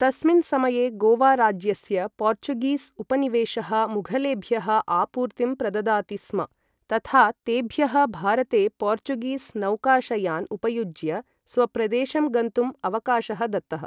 तस्मिन् समये गोवा राज्यस्य पोर्चुगीस् उपनिवेशः मुघलेभ्यः आपूर्तिं प्रददाति स्म, तथा तेभ्यः भारते पोर्चुगीस् नौकाशयान् उपयुज्य स्वप्रदेशं गन्तुं अवकाशः दत्तः।